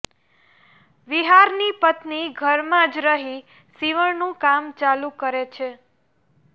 વિહારની પત્ની ઘરમાં જ રહી શિવણ નું કામ ચાલુ કરે છે